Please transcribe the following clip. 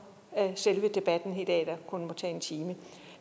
selve debatten i dag der kun må tage en time